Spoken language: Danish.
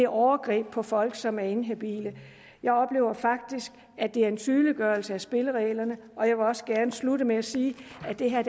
overgreb på folk som er inhabile jeg oplever faktisk at det er en tydeliggørelse af spillereglerne og jeg vil også gerne slutte med at sige at det her